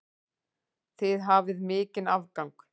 Þið hafið mikinn afgang.